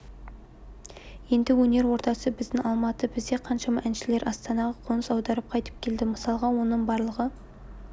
енді өнер ордасы біздің алматы бізде қаншама әншілер астанаға қоныс аударып қайтып келді мысалға оны барлығы